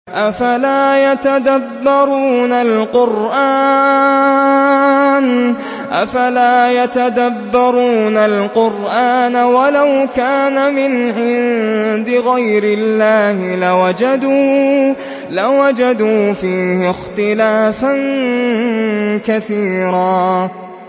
أَفَلَا يَتَدَبَّرُونَ الْقُرْآنَ ۚ وَلَوْ كَانَ مِنْ عِندِ غَيْرِ اللَّهِ لَوَجَدُوا فِيهِ اخْتِلَافًا كَثِيرًا